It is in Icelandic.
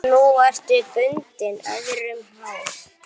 Nú ertu bundin, öðrum háð.